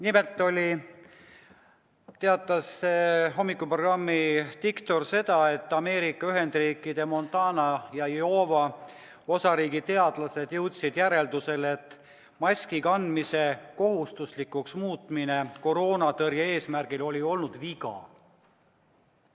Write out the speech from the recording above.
Nimelt teatas hommikuprogrammi diktor, et Ameerika Ühendriikide Montana ja Iowa osariigi teadlased jõudsid järeldusele, et maski kandmise kohustuslikuks muutmine koroona tõrje eesmärgil oli viga.